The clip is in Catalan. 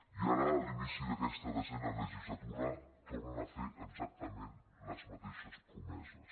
i ara a l’inici d’aquesta desena legislatura tornen a fer exactament les mateixes promeses